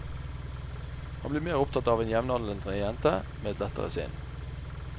Han blir mer opptatt av en jevnaldrende jente med et lettere sinn.